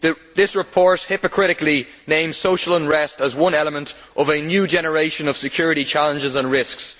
This report hypocritically names social unrest as one element of a new generation of security challenges and risks.